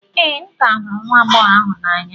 ee, m ka hụrụ nwa agbọghọ ahụ n'anya